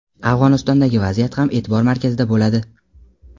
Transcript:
Afg‘onistondagi vaziyat ham e’tibor markazida bo‘ladi!.